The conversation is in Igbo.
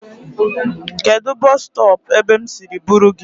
Kedụ bọs stọọpụ ebe m siri buru gị?